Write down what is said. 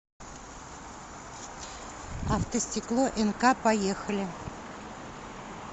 автостекло нк поехали